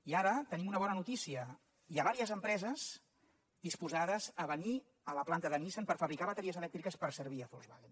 i ara tenim una bona notícia hi ha diverses empreses disposades a venir a la planta de nissan per fabricar bateries elèctriques per servir a volkswagen